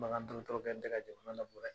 Bagan kɛlen tɛ ka jamana labɔ dɛ!